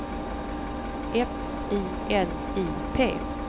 F I L I P